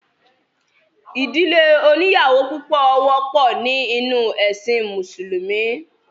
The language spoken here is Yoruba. ìdílé oníyàwó púpọ̀ wọ́pọ̀ ní inú ẹ̀sìn mùsùlúmí